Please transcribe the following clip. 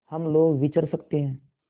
हम लोग विचर सकते हैं